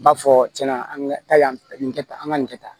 N b'a fɔ cɛn na an ka taa yan fɛ nin kɛ tan an ka nin kɛ tan